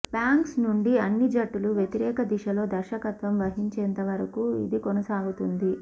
bangs నుండి అన్ని జుట్టులు వ్యతిరేక దిశలో దర్శకత్వం వహించేంత వరకు ఇది కొనసాగుతుంది